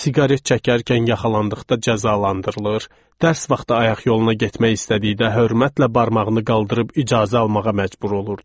Siqaret çəkərkən yaxalandıqda cəzalandırılır, dərs vaxtı ayaq yoluna getmək istədikdə hörmətlə barmağını qaldırıb icazə almağa məcbur olurdu.